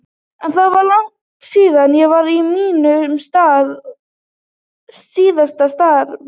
En það er langt síðan ég var í mínu síðasta starfi.